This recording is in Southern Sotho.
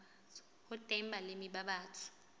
ho teng balemi ba batsho